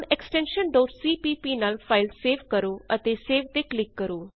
ਹੁਣ extension cpp ਨਾਲ file save ਕਰੋ ਅਤੇ ਸੇਵ ਤੇ ਕਲਿਕ ਕਰੋ